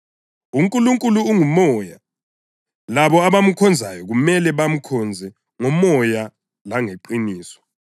UNkulunkulu ungumoya, labo abamkhonzayo kumele bamkhonze ngomoya langeqiniso.”